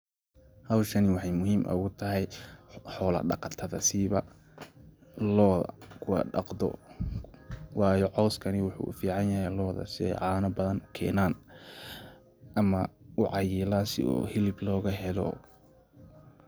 Xowshaan waxay muxiim ogutaxay, xoola daqatada, sibaa looda kuwa daqdo, wayo coskani waxu uficanyaxay looda, si ay cana badan kenaan, ama ucayilan si u xilib logaxelo,